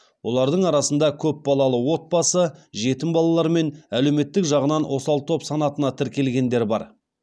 олардың арасында көпбалалы отбасы жетім балалар мен әлеуметтік жағынан осал топ санатына тіркелгендер бар